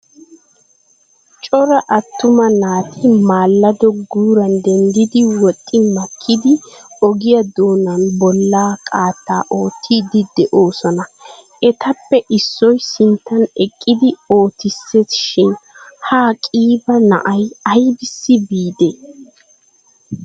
Cora attuma naati maallado guuran dendidi woxxi makkidi ogiya doonan bolla qaattaa oottiiddi de'oosona. Etappe issoy sinttan eqqidi oottissees shin ha qiiba na'ay ayissi biidee?